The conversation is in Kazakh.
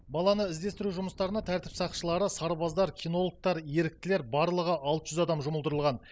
баланы іздестіру жұмыстарына тәртіп сақшылары сарбаздар кинологтар еріктілер барлығы алты жүз адам жұмылдырылған